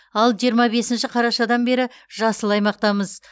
ал жиырма бесінші қарашадан бері жасыл аймақтамыз